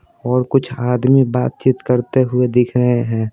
और कुछ आदमी बातचीत करते हुए दिख रहे हैं।